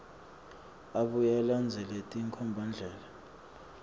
abuye alandzele tinkhombandlela